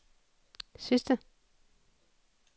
sidste